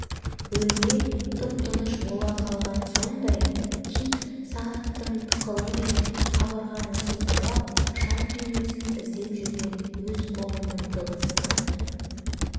бөлме тып-тыныш бола қалғаны сондай кит сағаттың тықылы мен қабырғаны сипалап шам түймесін іздеп жүрген өз қолының дыбысына